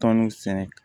Tɔn sɛnɛ